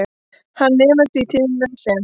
Hann nemur því tíðnina sem